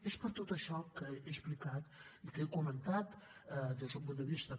és per tot això que he explicat i que he comentat des d’un punt de vista